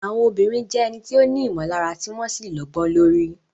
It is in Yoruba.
Àwọn obìnrin jẹ́ ẹni tí ó ní ìmọ̀lára tí wọ́n sì lọ́gbọ́n lórí.